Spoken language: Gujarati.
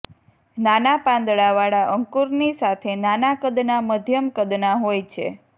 નાના પાંદડાવાળા અંકુરની સાથે નાના કદના મધ્યમ કદના હોય છે